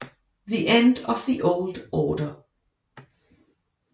The End of the Old Order